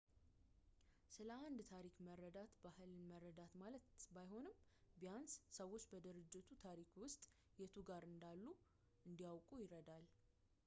ስለ አንድ ታሪክ መረዳት ባህልን መረዳት ማለት ባይሆንም ቢያንስ ሰዎች በድርጅቱ ታሪክ ውስጥ የቱ ጋር እንዳሉ እንዲያውቁ ይረዳል